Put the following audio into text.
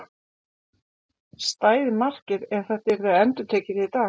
Stæði markið ef þetta yrði endurtekið í dag?